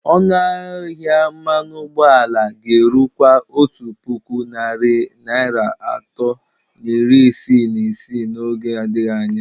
Ọnụ ahịa mmanụ ụgbọala ga-erukwa otu puku narị naira atọ na iri isii na isii n'oge adịghị anya.